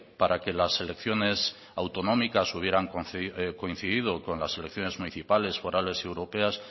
para que las elecciones autonómicas hubieran coincidido con las elecciones municipales forales y europeas